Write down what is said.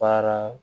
Baara